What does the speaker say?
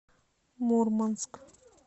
мурманск